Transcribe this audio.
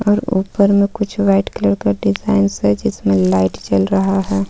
और ऊपर में कुछ व्हाइट कलर का डिज़ाइन्स हैं जिसमें लाइट जल रहा है.